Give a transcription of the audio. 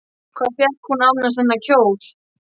Hvar fékk hún annars þennan kjól?